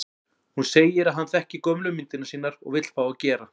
Hún segir að hann þekki gömlu myndirnar sínar og vill fá að gera